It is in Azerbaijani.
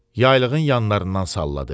Yaylığın yanlarından salladı.